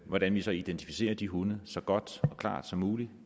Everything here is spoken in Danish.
hvordan vi så identificerer de hunde så godt og klart som muligt